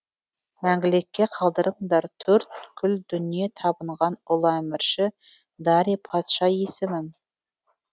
мәңгілікке қалдырыңдар төрткүл дүние табынған ұлы әмірші дарий патша есімін